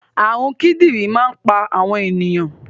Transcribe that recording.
Àrùn kidinrin máa ń pa àwọn ènìyàn